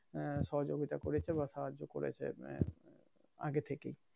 হ্যাঁ সহযোগিতা করেছে বা সাহায্য করেছে আগে থেকেই